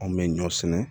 Anw bɛ ɲɔ sɛnɛ